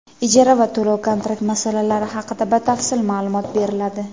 ijara va to‘lov-kontrakt masalalari haqida batafsil maʼlumot beriladi.